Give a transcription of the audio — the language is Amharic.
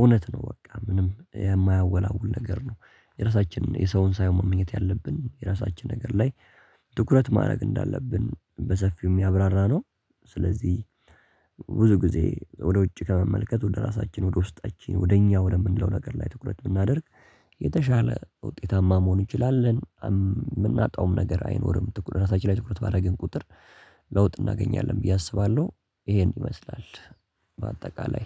እውነት ነው በቃ ምንም የማያወላውል ነገር ነው። የራሳችንን የሰውን ሳይሆን መመኘት ያለብን የራሳችን ነገር ላይ ትኩረት ማድረግ እንዳለብን በሰፊውም ያብራራነው። ስለዚህ ብዙ ጊዜ ወደ ውጭ ከመመልከት ወደ ራሳችን ወደ ውስጣችን ወደ እኛ ወለም የምንለው ነገር ላይ ትኩረት ብናደርግ የተሻለ ውጤታማ መሆን እንችላለን የምናጣውም ነገር አይኖርም። ትኩረት ራሳችን ላይ ትኩረት ባረግን ቁጥር ለውጥ እናገኛለን ብዬ አስባለሁ። ይሄ እንዲመስላል በአጠቃላይ